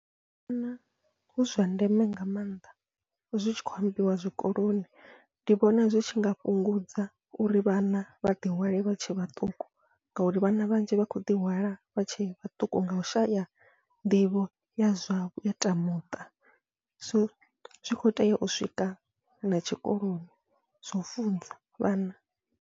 Ndi vhona hu zwa ndeme nga maanḓa zwi tshi khou ambiwa zwikoloni, ndi vhona zwi tshinga fhungudza uri vhana vha ḓi hwale vha tshe vhaṱuku, ngauri vhana vhanzhi vha khou ḓi hwala vha tshe vhaṱuku ngau shaya nḓivho ya zwa ya zwa teamuṱa so zwi kho tea u swika na tshikoloni zwa funzwa vhana.